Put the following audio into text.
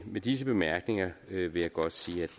med disse bemærkninger vil jeg godt sige